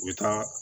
U bɛ taa